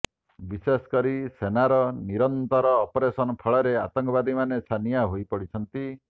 ବିଶେଷକରି ସେନାର ନିରନ୍ତର ଅପରେସନ ଫଳରେ ଆତଙ୍କବାଦୀମାନେ ଛାନିଆ ହୋଇପଡିଛନ୍ତି